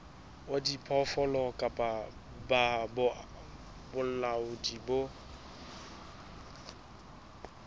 wa diphoofolo kapa bolaodi bo